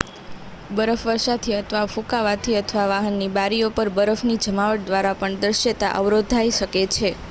બરફવર્ષાથી અથવા ફૂંકાવાથી અથવા વાહનની બારીઓ પર બરફની જમાવટ દ્વારા પણ દૃશ્યતા અવરોધાઇ શકે છે